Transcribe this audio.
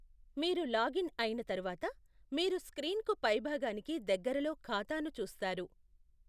మీరు లాగిన్ అయిన తరువాత, మీరు స్క్రీన్కు పై భాగానికి దగ్గరలో ఖాతాను చూస్తారు.